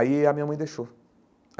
Aí a minha mãe deixou.